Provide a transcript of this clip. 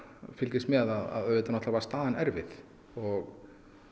fylgist með að auðvitað náttúrulega var staðan erfið og